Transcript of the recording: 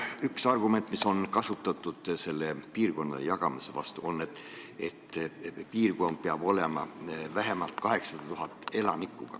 Üks argument, mida on kasutatud piirkondadeks jagamise vastu, on see, et piirkonnas peab olema vähemalt 800 000 elanikku.